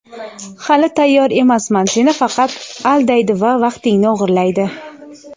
hali tayyor emasman seni faqat aldaydi va vaqtingni o‘g‘irlaydi.